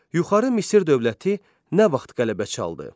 Yuxarı Misir dövləti nə vaxt qələbə çaldı?